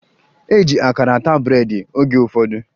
E ji akara ata breedị oge ụfọdụ